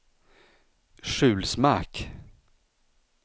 Sjulsmark